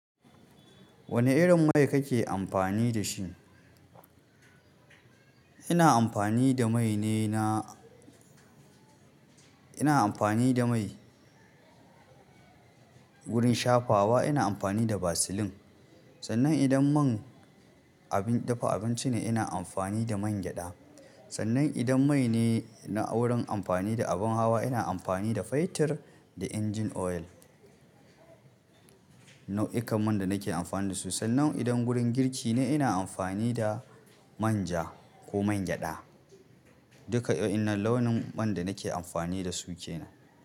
Wane irin mai kake amfani da shi? Ina amfani da mai ne na, ina amfani da mai wurin shafawa ina amfani da Vaseline. Sannan idan man abin dafa abinci ne ina amfani da man gyaɗa. Sannan idan mai ne na wurin amfani da abin hawa ina amfani da Faitir da engine oil. Nau'ikan man da nake amfani da su. Sannan idan wurin girki ne ina amfani da manja ko man gyaɗa. Duka waɗannan launin man da nake amfani da su ke nan.